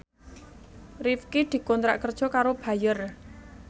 Rifqi dikontrak kerja karo Bayer